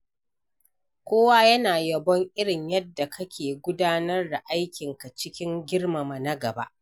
Kowa yana yabon irin yadda kake gudanar da aikinka cikin girmama na gaba.